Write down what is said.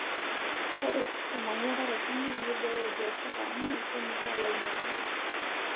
Ore olmanyara toronok neibooyo biashara amu kemiraa lainyang'ak.